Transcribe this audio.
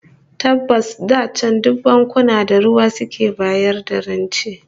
Tabbas da can duk bankuna da ruwa suke bayar da rance